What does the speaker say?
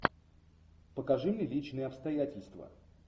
покажи мне личные обстоятельства